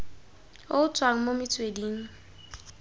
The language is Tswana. o o tswang mo metsweding